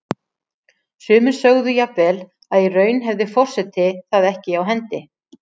Sumir sögðu jafnvel að í raun hefði forseti það ekki á hendi.